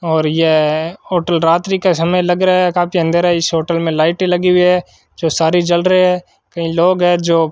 और यह होटल रात्रि का समय लग रहा है काफी अंधेरा इस होटल में लाइट लगी हुई है जो सारी जल रही है कहीं लोग है जो --